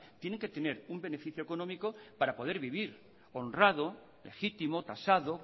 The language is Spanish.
tienen que tener un beneficio económico para poder vivir honrado legítimo tasado